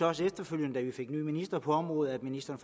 også efterfølgende da vi fik en ny minister på området at ministeren